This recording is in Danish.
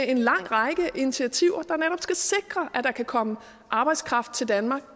en lang række initiativer der netop skal sikre at der kan komme arbejdskraft til danmark